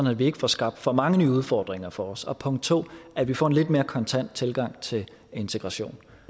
at vi ikke får skabt for mange nye udfordringer for os punkt to at vi får en lidt mere kontant tilgang til integration